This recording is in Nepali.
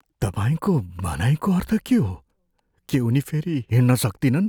तपाईँको भनाइको अर्थ के हो? के उनी फेरि हिँड्न सक्तिनन्?